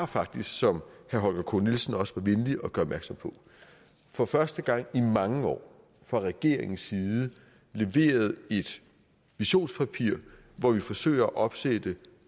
faktisk som herre holger k nielsen også var venlig opmærksom på for første gang i mange år fra regeringens side har leveret et visionspapir hvor vi forsøger at opsætte